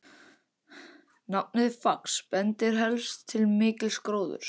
Nafnið Fax bendir helst til mikils gróðurs.